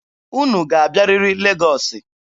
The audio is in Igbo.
Unu ga-abịarịrị Legọọsị!